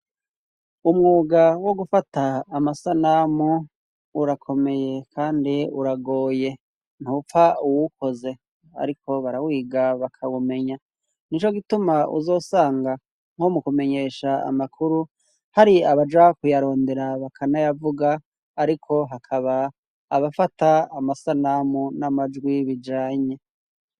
Umwuga wo gufata amasanamu urakomeye kandi uragoye ntupfa uwuwukoze ariko barawiga bakawumenya nico gituma uzosanga nko mukumenyesha amakuru hari abaja kuyarondera bakanayavuga ariko hakaba abafata amasanamu n'amajwi bijanye.